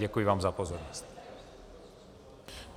Děkuji vám za pozornost.